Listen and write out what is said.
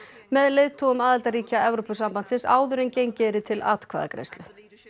með leiðtogum aðildarríkja Evrópusambandsins áður en gengið yrði til atkvæðagreiðslu